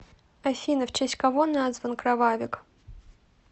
афина в честь кого назван кровавик